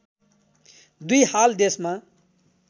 २ हाल देशमा